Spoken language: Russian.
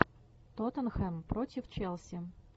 тоттенхэм против челси